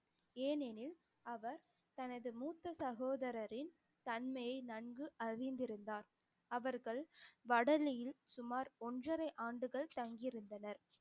ஏனெனில் அவர் தனது மூத்த சகோதரரின் தன்மையை நன்கு அறிந்திருந்தார் அவர்கள் வடலியில் சுமார் ஒன்றரை ஆண்டுகள் தங்கியிருந்தனர்